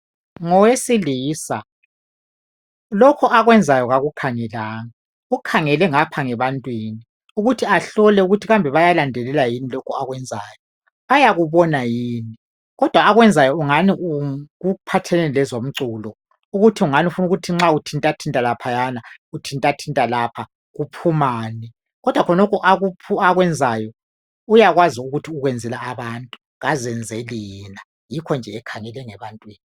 ngowesilisa lokhu akwenzayo kakukhangelanga ukhangele ngapha ebantwini ukuthi ahlole ukuthi ngabe bayalandelela lokhu akwenzayo bayakubona yini kodwa akwenzayo kungani kuphathelane lezomculo ukuthi ngani ufuna ukuthi nxa uthintathinta laphayana uthintathinta lapha kuphumani kodwa khonokho akwenzayo uyakwazi ukuthi ukwenzela abantu akazenzeli yena yikho nje ekhangele ngebantwini